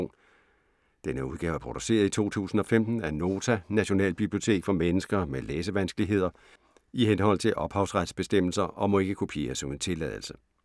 Denne udgave er produceret i 2015 af Nota - Nationalbibliotek for mennesker med læsevanskeligheder, i henhold til ophavsrettes bestemmelser, og må ikke kopieres uden tilladelse.